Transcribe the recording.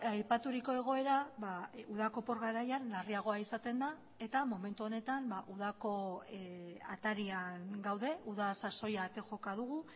aipaturiko egoera udako opor garaian larriagoa izaten da eta momentu honetan udako atarian gaude uda sasoia ate joka dugu